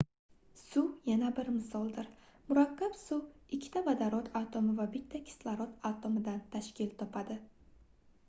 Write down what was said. suv yana bir misoldir murakkab suv ikkita vodorod atomi va bitta kislorod atomidan tashkil topadi